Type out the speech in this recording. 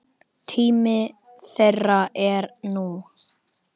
Tími þeirra er nú.